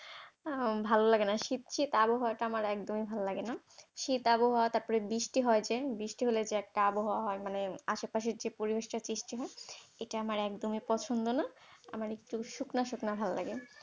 আহ ভাল লাগে না, শীত শীত আবহাওয়াটা আমার একদমই ভাল লাগে না, শীত আবহাওয়া তারপর বৃষ্টি হয় যে, বৃষ্টি হলে যে একটা আবহাওয়া হয় মানে যে আশেপাশের যে পরিবেশটা সৃষ্টি হয় এটা আমার একদমই পছন্দ না, আমার একটু শুকনো শুকনো ভাল লাগে।